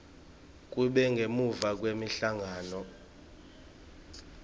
kube ngemuva kwemhlangano